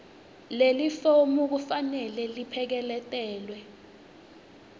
lelifomu kufanele lipheleketelwe